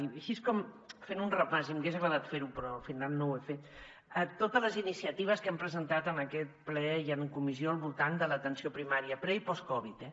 i així com fent un repàs i m’hagués agradat fer ho però al final no ho he fet a totes les iniciatives que hem presentat en aquest ple i en comissió al voltant de l’atenció primària pre i post covid eh